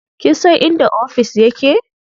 Kin san inda ofis ya ke?